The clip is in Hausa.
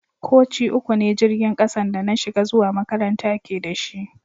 Koci uku ne jirigin kasan da na shiga zuwa makaranta ke da shi.